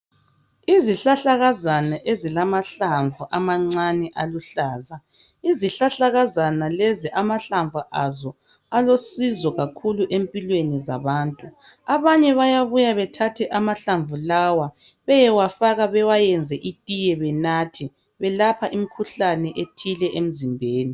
Isihlahlakazana ezilamahlamvu amancane aluhlaza. Izihlahlakazana lezi lamahlamvu azo alosizo kakhulu empilweni zabantu. Abanye bayabuya bethathe amahlamvu lawa beyewafaka bewayenze itiye benathe. Elapha imikhuhlane ethile emizimbeni.